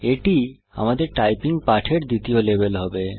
এটি আমাদের টাইপিং পাঠের দ্বিতীয় লেভেল হবে